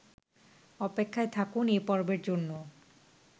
অপেক্ষায় থাকুন এ পর্বের জন্য